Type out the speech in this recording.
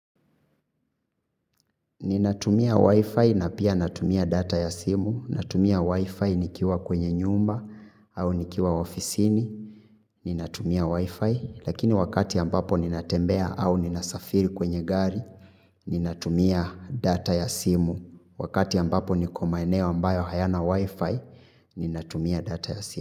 Ninatumia Wi-Fi na pia natumia data ya simu. Natumia Wi-Fi nikiwa kwenye nyumba au nikiwa ofisini. Ninatumia Wi-Fi lakini wakati ambapo ninatembea au ninasafiri kwenye gari. Ninatumia data ya simu. Wakati ambapo niko maeneo ambayo hayana Wi-Fi. Ninatumia data ya simu.